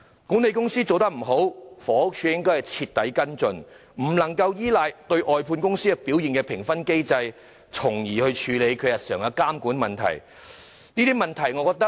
管理公司做得不好，房署應該徹底跟進，不可以依賴外判公司表現的評分機制來處理日常的監管問題。